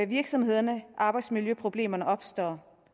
virksomhederne arbejdsmiljøproblemerne opstår